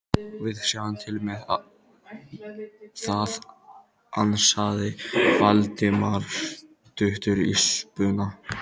Við sjáum til með það- ansaði Valdimar stuttur í spuna.